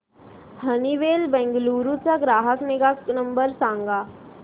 Honeywell Bengaluru चा ग्राहक निगा नंबर सांगा